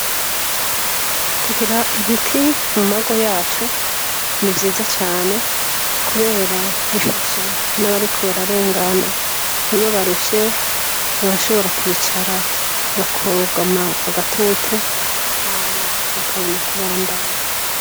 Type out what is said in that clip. Kugira ibiti mu mago yacu ni vyiza cane, kubera bifasha n'abariko bararengana iyo barushe barashobora kwicara bakogama agatutu hama bakabona kubandanya